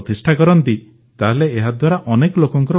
ପ୍ରତିଷ୍ଠା କରନ୍ତି ତାହେଲେ ଏହାଦ୍ୱାରା ଅନେକ ଲୋକଙ୍କ ଉପକାର ହେବ